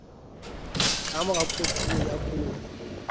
ka mora kotulo ya koro